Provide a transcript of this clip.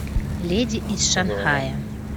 леди из шанхая